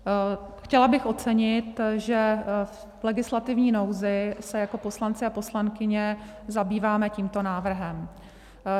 Chtěla bych ocenit, že v legislativní nouzi se jako poslanci a poslankyně zabýváme tímto návrhem.